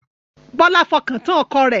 Bọlá fọkàn tán ọkọ rẹ̀